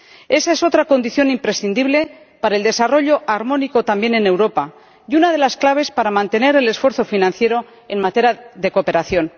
Esa es otra condición imprescindible para el desarrollo armónico también en Europa y una de las claves para mantener el esfuerzo financiero en materia de cooperación.